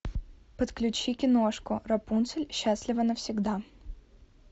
подключи киношку рапунцель счастлива навсегда